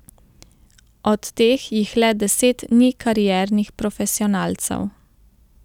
Od teh jih le deset ni kariernih profesionalcev.